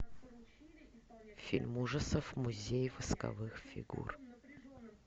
фильм ужасов музей восковых фигур